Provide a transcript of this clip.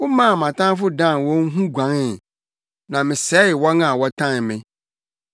Womaa mʼatamfo dan wɔn ho guanee, na mesɛe wɔn a wɔtan me.